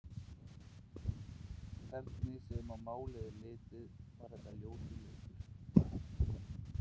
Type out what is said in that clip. Hvernig sem á málið er litið, var þetta ljótur leikur.